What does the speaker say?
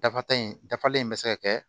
Dafata in dafalen bɛ se ka kɛ